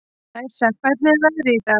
Æsa, hvernig er veðrið í dag?